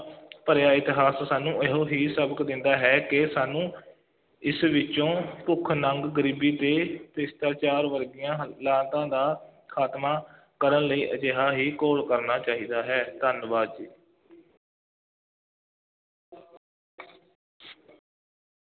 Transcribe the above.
ਭਰਿਆ ਇਤਿਹਾਸ ਸਾਨੂੰ ਇਹੋ ਹੀ ਸਬਕ ਦਿੰਦਾ ਹੈ ਕਿ ਸਾਨੂੰ ਇਸ ਵਿੱਚੋਂ ਭੁੱਖ-ਨੰਗ, ਗਰੀਬੀ ਅਤੇ ਭ੍ਰਿਸ਼ਟਾਚਾਰ ਵਰਗੀਆਂ ਦਾ ਖਾਤਮਾ ਕਰਨ ਲਈ ਅਜਿਹਾ ਹੀ ਘੋਲ ਕਰਨਾ ਚਾਹੀਦਾ ਹੈ, ਧੰਨਵਾਦ ਜੀ।